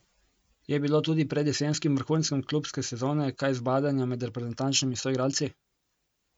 Je bilo tudi pred jesenskim vrhuncem klubske sezone kaj zbadanja med reprezentančnimi soigralci?